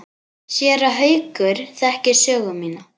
Séra Haukur þekkir sögu mína.